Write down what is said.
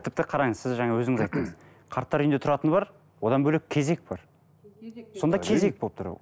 тіпті қараңыз сіз жаңа өзіңіз айттыңыз қарттар үйіне тұратыны бар одан бөлек кезек бар сонда кезек болып тұр